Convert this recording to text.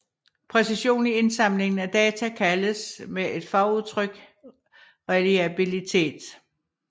Præcision i indsamlingen af data kaldes med et fagudtryk reliabilitet